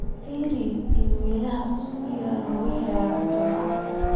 fiiri iimaylada cusub ee aan ka helay juma